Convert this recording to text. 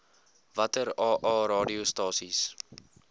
watter aa radiostasies